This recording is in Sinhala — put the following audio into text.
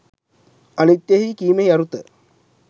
අනිත්‍යය කීමෙහි අරුත